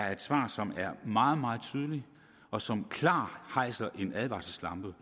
er et svar som er meget meget tydeligt og som klart hejser en advarselslampe